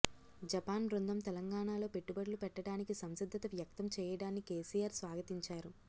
Japan బృందం తెలంగాణ లో పెట్టుబడులు పెట్టడానికి సంసిద్దత వ్యక్తం చేయడాన్ని కెసిఆర్ స్వాగతించారు